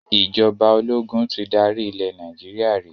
Ìjọba ológun tí dárí ilẹ̀ Nàìjíríà rí